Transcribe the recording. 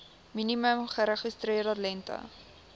minimum geregistreerde lengte